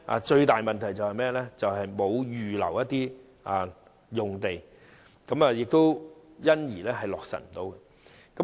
最大的問題是沒有預留用地，因而無法落實建議。